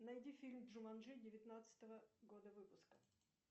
найди фильм джуманджи девятнадцатого года выпуска